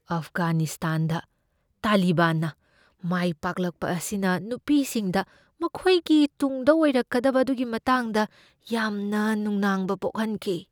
ꯑꯐꯒꯥꯅꯤꯁꯇꯥꯟꯗ ꯇꯥꯂꯤꯕꯥꯟꯅ ꯃꯥꯏꯄꯥꯛꯂꯛꯄ ꯑꯁꯤꯅ ꯅꯨꯄꯤꯁꯤꯡꯗ ꯃꯈꯣꯏꯒꯤ ꯇꯨꯡꯗ ꯑꯣꯏꯔꯛꯀꯗꯕ ꯑꯗꯨꯒꯤ ꯃꯇꯥꯡꯗ ꯌꯥꯝꯅ ꯅꯨꯡꯅꯥꯡꯕ ꯄꯣꯛꯍꯟꯈꯤ ꯫